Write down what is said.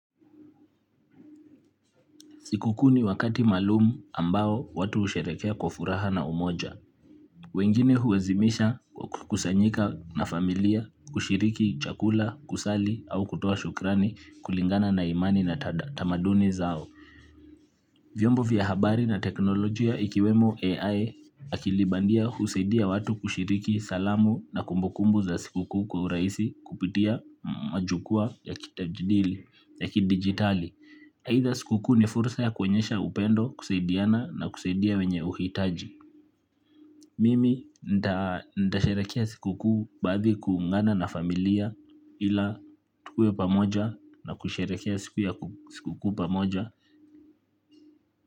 Siku kuu ni wakati maalum ambao watu husherehekea kwa furaha na umoja. Wengine huazimisha kwa kukusanyika na familia, kushiriki, chakula, kusali au kutoa shukrani kulingana na imani na tamaduni zao. Vyombo vya habari na teknolojia ikiwemo AI akilibandia husaidia watu kushiriki salamu na kumbukumbu za siku kuu kwa urahisi kupitia majukwaa ya kidigitali. Aidha siku kuu ni fursa ya kuonyesha upendo kusaidiana na kusaidia wenye uhitaji. Mimi nitasharehekea siku kuu baadhi kuungana na familia ila tukue pamoja na kusharehekea siku ya siku kuu pamoja.